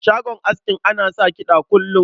Shagon askin ana sa kiɗa kullum.